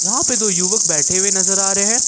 वहां पे दो युवक बैठे हुए नजर आ रहे हैं।